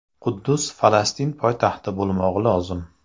Quddus Falastin poytaxti bo‘lmog‘i lozim.